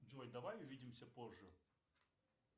джой давай увидимся позже